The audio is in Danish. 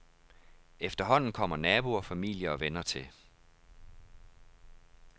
Efterhånden kommer naboer, familie og venner til.